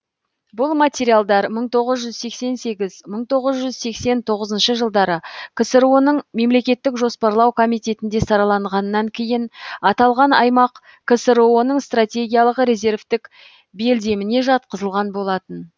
бұл материалдар мың тоғыз жүз сексен сегіз мың тоғыз жүз сексен тоғызыншы жылдары ксро ның мемлекеттік жоспарлау комитетінде сараланғаннан кейін аталған аймақ ксро ның стратегиялық резервтік белдеміне жатқызылған болатын